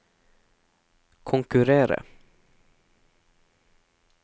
konkurrere